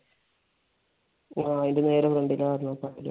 ആഹ് അതിന്റെ നേരെ ഫ്രണ്ട് ഇൽ